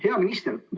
Hea minister!